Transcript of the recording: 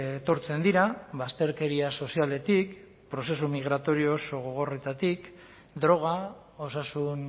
etortzen dira bazterkeria sozialetik prozesu migratorio oso gogorretatik droga osasun